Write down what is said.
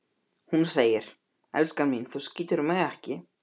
Hún segir: Elskan mín, þú skýtur mig ekki